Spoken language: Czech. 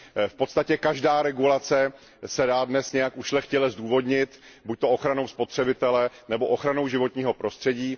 V podstatě každá regulace se dá dnes nějak ušlechtile zdůvodnit buď ochranou spotřebitele, nebo ochranou životního prostředí.